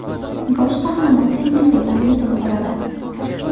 Bosh qahramon singlisi bilan yetim qoladi.